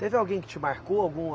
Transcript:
Teve alguém que te marcou, alguma